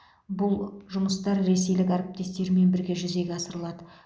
бұл жұмыстар ресейлік әріптестермен бірге жүзеге асырылады